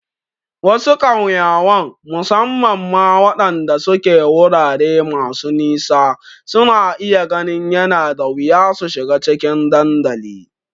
Wasu ƙauyawan, musamman ma waɗanda suke wurare masu nisa, suna iya ganin yana da wuya su shiga cikin dandalin.